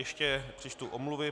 Ještě přečtu omluvy.